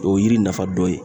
O ye yiri nafa dɔ ye.